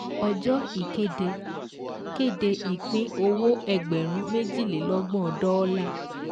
Ọjọ́ ìkéde kéde Ìpín-owó ẹgbẹ̀rún méjìlélọ́gbọ̀n dọ́ọ́là